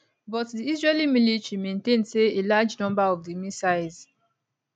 but di israeli military maintain say a large number of di missiles